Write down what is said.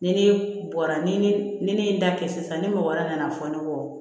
Ni ne bɔra ni ne ye n da kɛ sisan ni mɔgɔ wɛrɛ nana fɔ ne kɔ